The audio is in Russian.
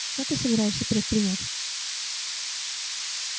что ты собираешься предпринять